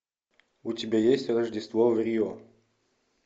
у тебя есть рождество в рио